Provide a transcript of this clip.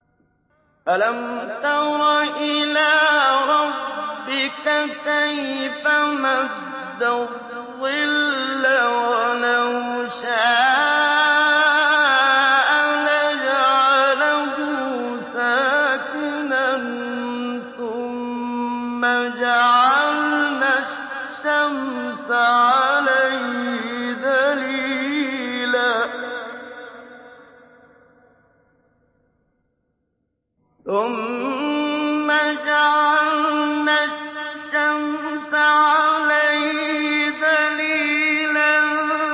أَلَمْ تَرَ إِلَىٰ رَبِّكَ كَيْفَ مَدَّ الظِّلَّ وَلَوْ شَاءَ لَجَعَلَهُ سَاكِنًا ثُمَّ جَعَلْنَا الشَّمْسَ عَلَيْهِ دَلِيلًا